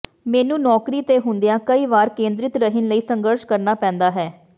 ਮੈਨੂੰ ਨੌਕਰੀ ਤੇ ਹੁੰਦਿਆਂ ਕਈ ਵਾਰੀ ਕੇਂਦਰਿਤ ਰਹਿਣ ਲਈ ਸੰਘਰਸ਼ ਕਰਨਾ ਪੈਂਦਾ ਹੈ